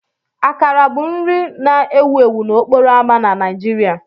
Akara bụ nri nri na-ewu ewu n'okporo ámá na Nigeria.